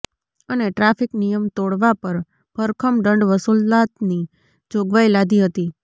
અને ટ્રાફિક નિયમ તોડવા પર ભરખમ દંડ વસૂલાતની જોગવાઈ લાદી હતી